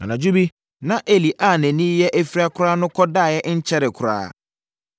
Anadwo bi, na Eli a nʼani reyɛ afira koraa no kɔdaeɛ nkyɛree koraa.